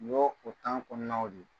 Ɲo o kɔɔnaw don.